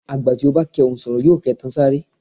Àgbà tí ò bá kẹhùn sọ̀rọ̀ yóò kẹtan sáré.